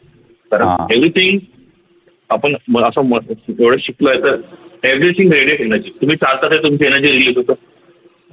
everything आपण अस म्ह एवढ शिकलो आहे तर तुम्ही चालतात आहे तुमची energy release होत